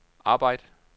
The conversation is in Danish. arbejd